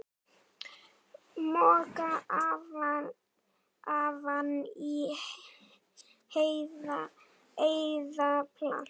Moka ofan í eða planta?